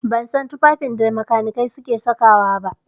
A'a, ban san tufafin da makanikai suke saka wa ba.